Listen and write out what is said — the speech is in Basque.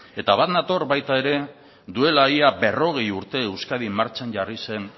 eta bat nator baita ere duela ia berrogei urte euskadin martxan jarri zen